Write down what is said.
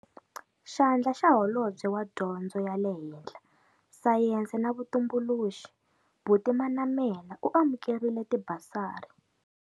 Xandla xa Holobye wa Dyondzo ya le Henhla, Sayense na Vutumbuluxi, Buti Manamela u amukerile tibasari.